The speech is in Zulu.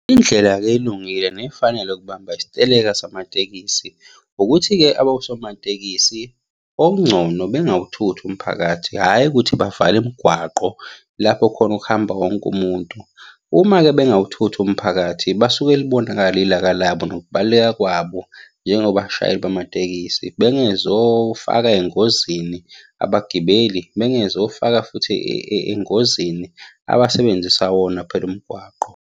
Indlela-ke elungile, nefanele yokubamba isiteleka samatekisi ukuthi-ke abosomatekisi, okungcono bengawuthuthi umphakathi, hhayi ukuthi bavale imigwaqo lapho khona okuhamba wonke umuntu. Uma-ke bengawuthuthi umphakathi basuke libonakala ilaka labo nokubaluleka kwabo njengobashayeli bamatekisi. Bengezofaka engozini abagibeli, bengezofaka futhi engozini abasebenzisa wona phela umgwaqo.